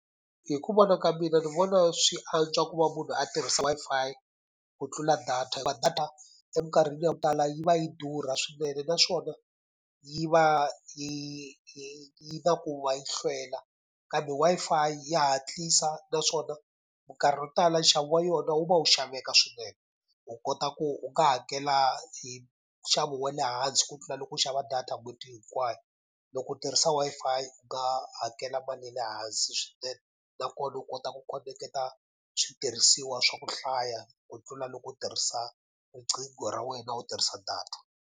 Hi ku vona ka mina ni vona swi antswa ku va munhu a tirhisa Wi-Fi ku tlula data hikuva data eminkarhini yo tala yi va yi durha swinene naswona, yi va yi yi na ku va yi hlwela kambe Wi-Fi ya hatlisa. Naswona minkarhi yo tala nxavo wa yona wu va wu xaveka swinene, u kota ku u nga hakela hi nxavo wa le hansi ku tlula loko u xava data n'hweti hinkwayo. Loko u tirhisa Wi-Fi u nga hakela mali ya le hansi swinene, nakona u kota ku khoneketa switirhisiwa swa ku hlaya ku tlula loko u tirhisa riqingho ra wena u tirhisa data.